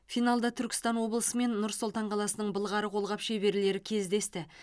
финалда түркістан облысы мен нұр сұлтан қаласының былғары қолғап шеберлері кездесті